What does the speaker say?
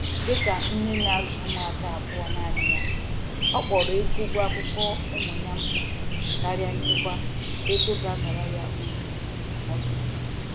Dịka nne na-azụ ụmụaka abụọ nanị ya, ọ kpọrọ ego ụgwọ akwụkwọ ụmụ ya mkpa karịa nchekwa ego ga abara ya uru n'ọdịnihu.